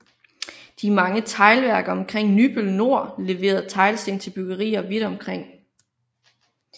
De mange teglværker omkring Nybøl Nor leverede teglsten til byggerier vidt omkring